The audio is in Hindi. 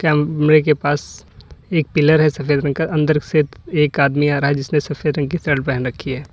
कमरे के पास एक पिलर है सफेद रंग का अंदर से एक आदमी आ रहा है जिसने सफेद रंग की शर्ट पहन रखी है।